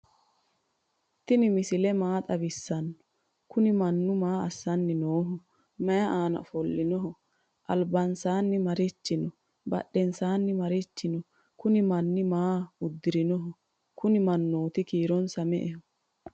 tini misile maa xawisano? kuni manu maa asani noho? mayi ana offolinoho? albansani marichi no?badhensani maarichi no?kunni manu maa udirrinoho? kuni maanuyiti kiironsa me"ete?